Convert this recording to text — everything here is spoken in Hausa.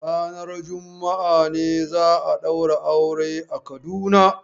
Ranar juma'a ne za a ɗaura auren a Kaduna?